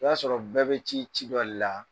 O y'a sɔrɔ bɛɛ bɛ ci ci dɔ de la.